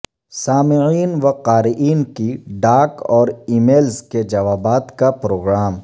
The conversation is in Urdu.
سامعین و قارئین کی ڈاک اور ای میلز کے جوابات کا پروگرام